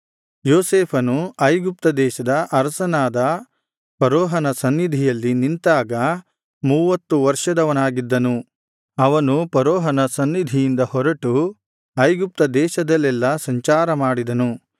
ಯೋಸೇಫನು ಐಗುಪ್ತ ದೇಶದ ಅರಸನಾದ ಫರೋಹನ ಸನ್ನಿಧಿಯಲ್ಲಿ ನಿಂತಾಗ ಮೂವತ್ತು ವರ್ಷದವನಾಗಿದ್ದನು ಅವನು ಫರೋಹನ ಸನ್ನಿಧಿಯಿಂದ ಹೊರಟು ಐಗುಪ್ತದೇಶದಲ್ಲೆಲ್ಲಾ ಸಂಚಾರಮಾಡಿದನು